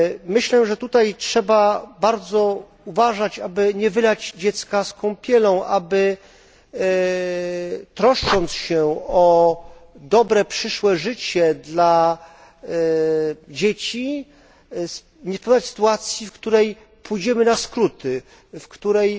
Myślę, że tutaj trzeba bardzo uważać, aby nie wylać dziecka z kąpielą, aby troszcząc się o dobre przyszłe życie dla dzieci, nie spowodować sytuacji, w której pójdziemy na skróty, w której